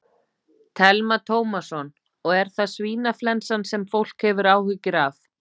Telma Tómasson: Og er það svínaflensan sem fólk hefur áhyggjur af?